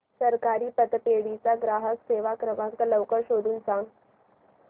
सहकारी पतपेढी चा ग्राहक सेवा क्रमांक लवकर शोधून सांग